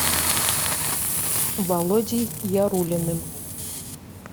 володей яруллиным